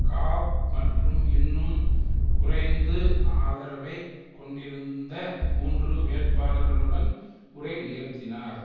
காப் மற்றும் இன்னும் குறைந்து ஆதரவைக் கொண்டிருந்த மூன்று வேட்பாளர்களுடன் உரை நிகழ்த்தினார்